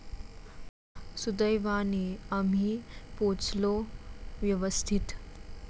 सुदैवाने आम्ही पोहोचलो व्यवस्थित.